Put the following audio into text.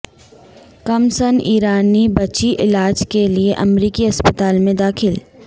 کم سن ایرانی بچی علاج کے لیے امریکی اسپتال میں داخل